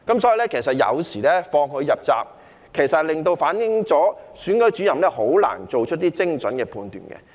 所以，當時放他入閘，其實亦反映了選舉主任很難做出精準的判斷。